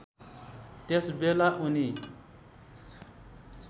त्यस बेला उनी